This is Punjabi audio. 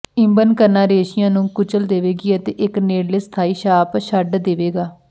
ਇਬਨ ਕਰਨਾ ਰੇਸ਼ਿਆਂ ਨੂੰ ਕੁਚਲ ਦੇਵੇਗੀ ਅਤੇ ਇਕ ਨੇੜਲੇ ਸਥਾਈ ਛਾਪ ਛੱਡ ਦੇਵੇਗਾ